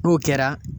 N'o kɛra